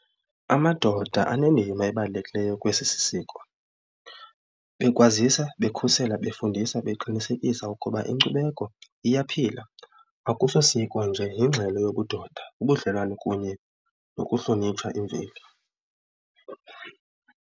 Amadoda anendima ebalulekileyo kwesi sisiko bekwazisa bekhusela befundisa beqinisekisa ukuba inkcubeko iyaphila akuso siko nje yingxelo yobudoda ubudlelwane kunye nokuhlonitshwa imveli.